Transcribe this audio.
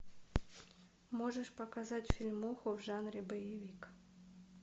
можешь показать фильмуху в жанре боевик